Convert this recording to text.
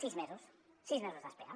sis mesos sis mesos d’espera